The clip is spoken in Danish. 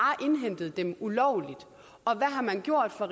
indhentet dem ulovligt og hvad har man gjort fra